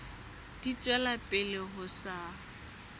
di tswela pele ho sa